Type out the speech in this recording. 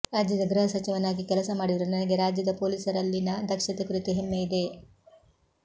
ರಾಜ್ಯದ ಗೃಹ ಸಚಿವನಾಗಿ ಕೆಲಸ ಮಾಡಿರುವ ನನಗೆ ರಾಜ್ಯದ ಪೊಲೀಸರಲ್ಲಿನ ದಕ್ಷತೆ ಕುರಿತು ಹೆಮ್ಮೆ ಇದೆ